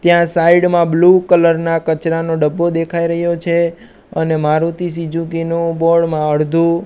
ત્યાં સાઇડ મા blue colour ના કચરાનો ડબ્બો દેખાય રહ્યો છે અને મારુતિ સુઝુકી નુ બોર્ડ અડધુ--